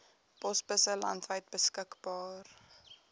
posbusse landwyd beskikbaar